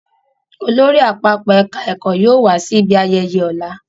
Olórí àpapọ̀ ẹ̀ka ẹ̀kọ́ yóò wá sí ibi ayẹyẹ ọ̀la